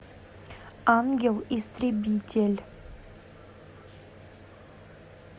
ангел истребитель